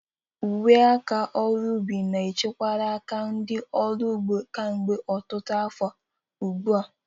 Uwe aka ọrụ ubi na echekwala aka ndị ọrụ ugbo kemgbe ọtụtụ afọ ugbu a.